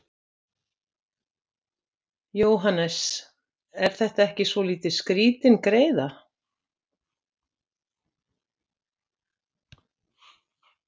Jóhannes: Er þetta ekki svolítið skrítin greiða?